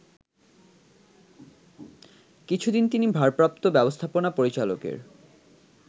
কিছুদিন তিনি ভারপ্রাপ্ত ব্যবস্থাপনা পরিচালকের